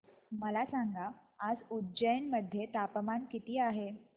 मला सांगा आज उज्जैन मध्ये तापमान किती आहे